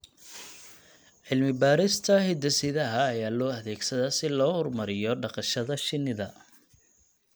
Cilmi-baarista hidde-sidaha ayaa loo adeegsadaa si loo horumariyo dhaqashada shinida.